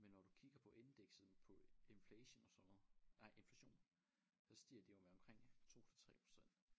Men når du kigger på indekset på inflation og sådan noget nej inflation så stiger det jo med omkring 2 til 3 %